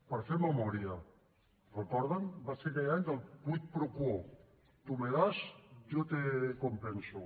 per fer memòria ho recorden va ser aquell any del quid pro quo tú me das yo te compenso